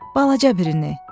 Balaca birini.